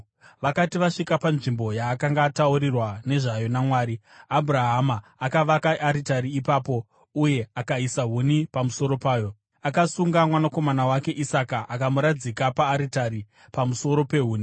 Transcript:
Vakati vasvika panzvimbo yaakanga ataurirwa nezvayo naMwari, Abhurahama akavaka aritari ipapo uye akaisa huni pamusoro payo. Akasunga mwanakomana wake Isaka akamuradzika paaritari, pamusoro pehuni.